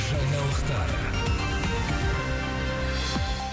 жаңалықтар